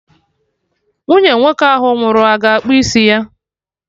Nwunye nwoke ahụ nwụrụ a ga-akpụ isi ya?